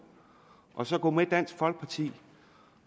og så gå med dansk folkeparti